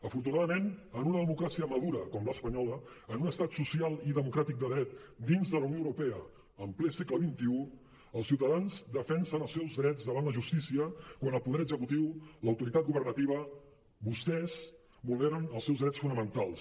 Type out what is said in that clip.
afortunadament en una democràcia madura com l’espanyola en un estat social i democràtic de dret dins de la unió europea en ple segle xxi els ciutadans defensen els seus drets davant la justícia quan el poder executiu l’autoritat governativa vostès vulneren els seus drets fonamentals